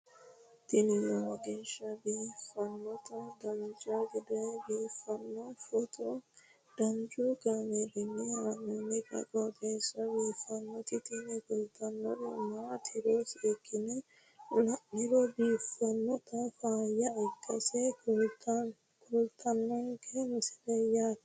tini lowo geeshsha biiffannoti dancha gede biiffanno footo danchu kaameerinni haa'noonniti qooxeessa biiffannoti tini kultannori maatiro seekkine la'niro biiffannota faayya ikkase kultannoke misileeti yaate